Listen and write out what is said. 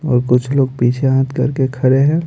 और कुछ लोग पीछे हाथ करके खड़े हैं।